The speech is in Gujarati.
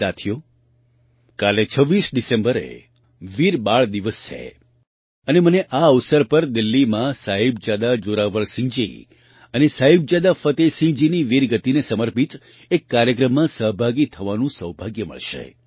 સાથીઓ કાલે 26 ડિસેમ્બરે વીર બાળ દિવસ છે અને મને આ અવસર પર દિલ્લીમાં સાહિબજાદા જોરાવરસિંહજી અને સાહિબજાદા ફતેહસિંહજીની વીરગતિને સમર્પિત એક કાર્યક્રમમાં સહભાગી થવાનું સૌભાગ્ય મળશે